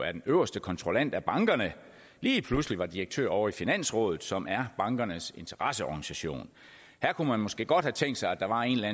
er den øverste kontrollant af bankerne lige pludselig var direktør ovre i finansrådet som er bankernes interesseorganisation her kunne man måske godt have tænkt sig at der var en eller